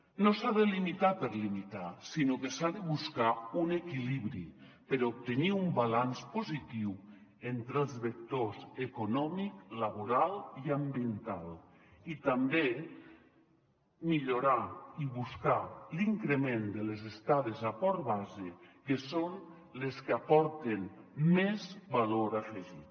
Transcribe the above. no s’ha de limitar per limitar sinó que s’ha de buscar un equilibri per obtenir un balanç positiu entre els vectors econòmic laboral i ambiental i també millorar i buscar l’increment de les estades a port base que són les que aporten més valor afegit